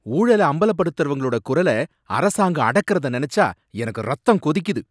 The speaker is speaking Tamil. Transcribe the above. ஊழல அம்பலப்படுத்தறவங்களோட குரல அரசாங்கம் அடக்கறத நனைச்சா எனக்கு இரத்தம் கொதிக்குது.